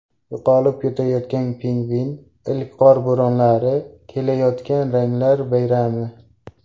Yo‘qolib ketayotgan pingvin, ilk qor bo‘ronlari, kelayotgan ranglar bayrami.